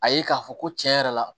A ye k'a fɔ ko tiɲɛ yɛrɛ la